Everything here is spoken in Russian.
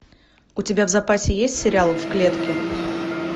у тебя в запасе есть сериал в клетке